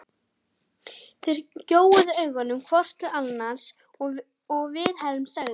Þeir gjóuðu augunum hvor til annars og Vilhelm sagði